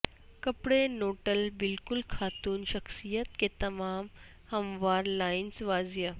کپڑے نوڈل بالکل خاتون شخصیت کے تمام ہموار لائنز واضح